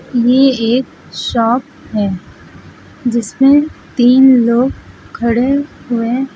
यह एक शॉप है जिस में तीन लोग खड़े हुए--